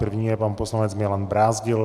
První je pan poslanec Milan Brázdil.